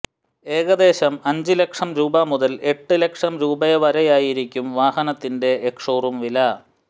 ഏകദേശം അഞ്ച് ലക്ഷം രൂപ മുതൽ എട്ട് ലക്ഷം രൂപ വരെയായിരിക്കും വാഹനത്തിന്റെ എക്സ്ഷോറൂം വില